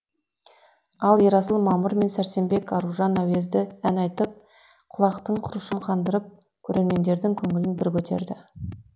ал ерасыл мамыр мен сәрсенбек аружан әуезді ән айтып құлақтың құрышын қандырып көрермендердің көңілін бір көтерді